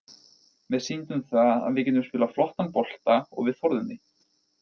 Við sýndum það að við getum spilað flottan bolta og við þorðum því.